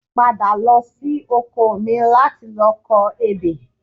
Padà lọ sí oko mi láti lọ kọ ebè